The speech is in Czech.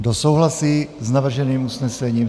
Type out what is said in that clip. Kdo souhlasí s navrženým usnesením?